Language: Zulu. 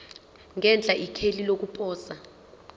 ngenhla ikheli lokuposa